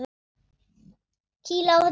Kýla á þetta núna!